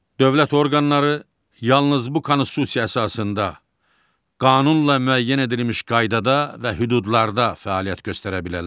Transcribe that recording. Dövlət orqanları yalnız bu konstitusiya əsasında qanunla müəyyən edilmiş qaydada və hüdudlarda fəaliyyət göstərə bilərlər.